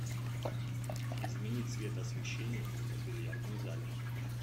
измени цвет освещение в бильярдном зале